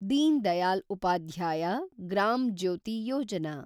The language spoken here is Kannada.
ದೀನ್ ದಯಾಲ್ ಉಪಾಧ್ಯಾಯ ಗ್ರಾಮ್ ಜ್ಯೋತಿ ಯೋಜನಾ